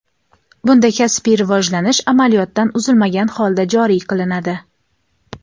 bunda kasbiy rivojlanish amaliyotdan uzilmagan holda joriy qilinadi.